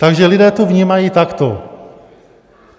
Takže lidé to vnímají takto.